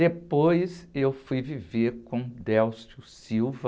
Depois eu fui viver com o,